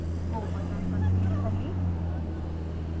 go button पर click करें